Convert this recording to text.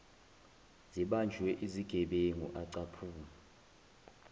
zibanjwe izigebengu acupha